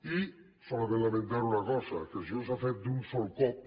i solament lamentar una cosa que això s’ha fet d’un sol cop